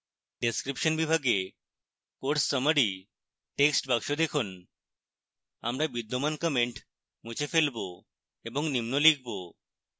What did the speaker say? description বিভাগে course summary textbox দেখুন